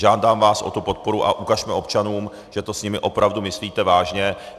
Žádám vás o tu podporu a ukažme občanům, že to s nimi opravdu myslíte vážně.